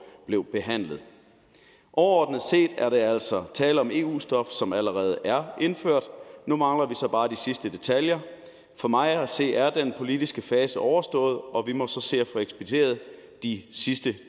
blev behandlet overordnet set er der altså tale om eu stof som allerede er indført nu mangler vi så bare de sidste detaljer for mig at se er den politiske fase overstået og vi må så se at få ekspederet de sidste